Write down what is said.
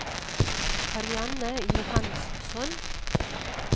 Karianne Johansson